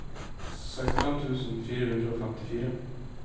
sekstifem tusen fire hundre og femtifire